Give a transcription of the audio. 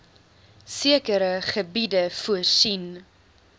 sekere gebiede voorsien